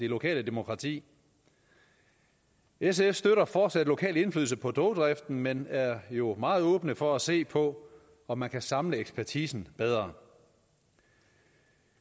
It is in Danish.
lokale demokrati sf støtter fortsat lokal indflydelse på togdriften men vi er jo meget åbne over for at se på om man kan samle ekspertisen bedre